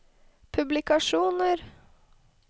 publikasjoner